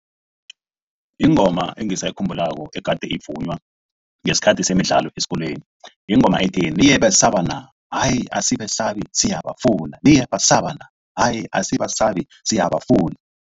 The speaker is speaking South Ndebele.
Ingoma engisayikhumbulako egade sivunywa ngesikhathi semidlalo esikolweni yingoma ethi. Niyebesaba na? Hayi asibesabi siyabafuna, niyabasa na? Hayi asibasabi siyabafuna.